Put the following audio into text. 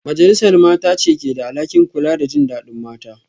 Majalisar Mata ce ke da alhakin kula da jin dadin mata